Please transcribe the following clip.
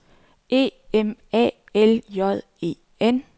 E M A L J E N